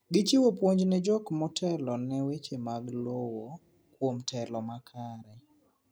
Gichiwo puonj ne jok motelone weche mag lowo kuom telo makare